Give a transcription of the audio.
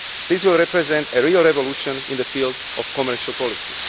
This will represent a real revolution in the field of commercial policy.